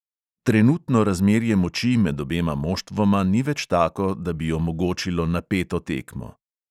Trenutno razmerje moči med obema moštvoma ni več tako, da bi omogočilo napeto tekmo.